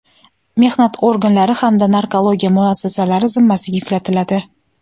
mehnat organlari hamda narkologiya muassasalari zimmasiga yuklatiladi.